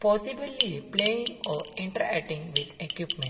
possibilly a playing or inter ating with equipment.